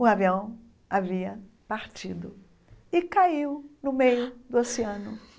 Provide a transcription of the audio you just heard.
O avião havia partido e caiu no meio do oceano.